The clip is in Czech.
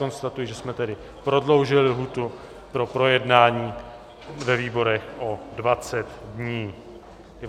Konstatuji, že jsme tedy prodloužili lhůtu pro projednání ve výborech o 20 dní.